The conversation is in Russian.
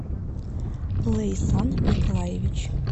лейсан николаевич